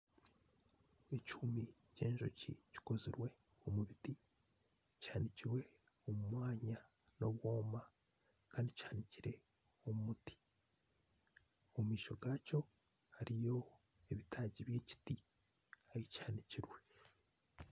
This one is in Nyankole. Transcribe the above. Ekihumi kyenjoki kikozirwe omubiti kihanikirwe omumwanya nobwoma Kandi kihanikirwe omumuti omumaisho gakyo hariyo ebitaagi byemiti ahikihanikirwe